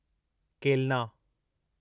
केलना